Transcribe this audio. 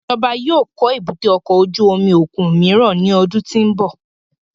Ijọba yóò kọ èbúté ọkọ ojú omi okun miiran ni ọdun ti n bọ